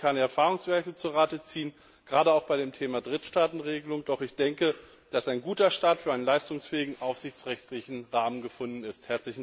Wir können keine Erfahrungswerte zu Rate ziehen, gerade auch bei dem Thema Drittstaatenregelung, doch ich denke, dass ein guter Start für einen leistungsfähigen aufsichtsrechtlichen Rahmen gefunden ist.